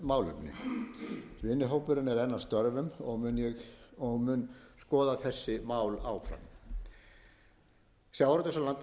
um framangreind málefni vinnuhópurinn er enn að störfum og mun skoða þessi mál áfram sjávarútvegs